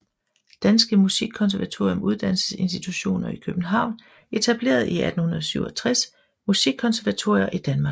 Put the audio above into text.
Danske Musikkonservatorium Uddannelsesinstitutioner i København Etableret i 1867 Musikkonservatorier i Danmark